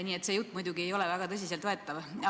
Nii et see jutt ei ole muidugi väga tõsiselt võetav.